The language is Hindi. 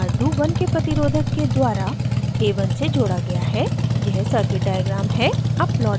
यहाँ sqr2 1k प्रतिरोधक के द्वारा a1 से जोड़ा गया है यह circuit diagram है